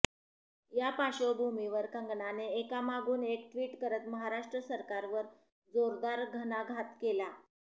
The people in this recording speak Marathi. या पार्श्वभूमीवर कंगनाने एकामागून एक ट्विट करत महाराष्ट्र सरकारवर जोरदार घणाघात केला